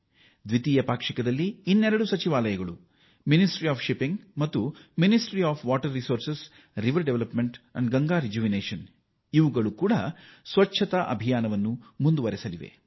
ಹಡಗು ಸಚಿವಾಲಯ ಮತ್ತು ಜಲ ಸಂಪನ್ಮೂಲ ನದಿ ಅಭಿವೃದ್ಧಿ ಮತ್ತು ಗಂಗಾ ಪುನಶ್ಚೇತನ ಸಚಿವಾಲಯಗಳು ಕೂಡ ಮಾರ್ಚ್ ತಿಂಗಳ ಕೊನೆಯ ಎರಡು ವಾರ ಸ್ವಚ್ಛತೆಯ ಅಭಿಯಾನ ಮುಂದುವರಿಸಲಿವೆ